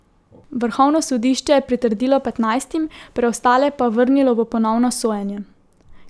Vrhovno sodišče je pritrdilo petnajstim, preostale pa vrnilo v ponovno sojenje.